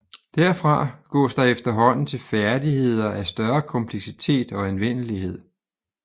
Derfra gås der efterhånden til færdigheder af større kompleksitet og anvendelighed